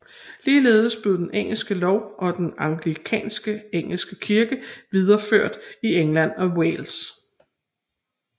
Ligeledes blev engelsk lov og den anglikanske engelske kirke videreført i England og Wales